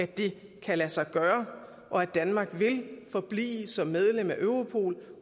det kan lade sig gøre og at danmark vil forblive som medlem af europol